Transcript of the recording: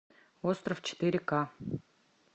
остров четыре ка